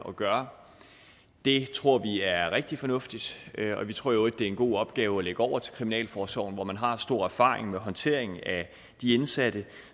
at gøre det tror vi er rigtig fornuftigt og vi tror i øvrigt det er en god opgave at lægge over til kriminalforsorgen hvor man har stor erfaring med håndtering af de indsatte